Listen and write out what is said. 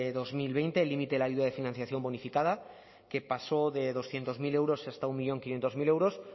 dos mil veinte el límite de la ayuda de financiación bonificada que pasó de doscientos mil euros hasta un millón quinientos mil euros